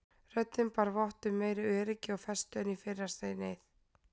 Röddin bar vott um meiri öryggi og festu en í fyrra sinnið.